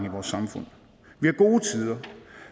i vores samfund vi har gode tider